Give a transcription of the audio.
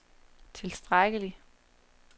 tilstrækkelig